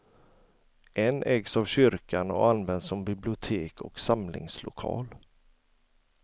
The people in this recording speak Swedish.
En ägs av kyrkan och används som bibliotek och samlingslokal.